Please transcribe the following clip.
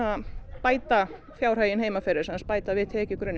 bæta fjárhaginn heima fyrir bæta við tekjugrunninn